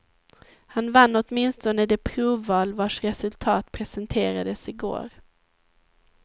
Han vann åtminstone det provval vars resultat presenterades i går.